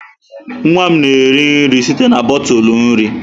Nwa m na-eri nri site na bọtụlụ nri.